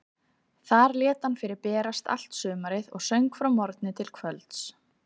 Þar lét hann fyrir berast allt sumarið og söng frá morgni til kvölds.